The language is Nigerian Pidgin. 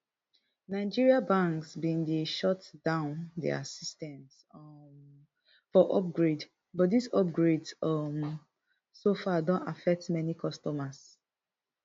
nigeria banks bin dey shut down dia systems um for upgrade but dis upgrades um so far don affect many customers